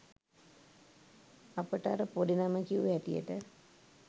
අපට අර පොඩි නම කියූ හැටියට